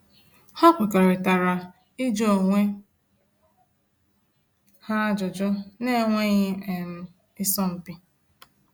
Ha kwerekọritara ịjụ onwe ha ajụjụ na enweghị um isọ mpi